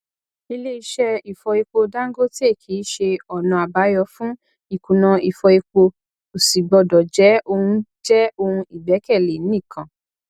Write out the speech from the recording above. ile iṣẹ ìfọ epo dangote kíi ṣe ona àbáyọ fún ìkùnà ìfọ epo kò sì gbọdọ jẹ òun jẹ òun ìgbékèlé nìkan